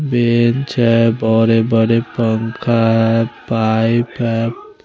Bench है बरे बरे पंखा है पाइप है।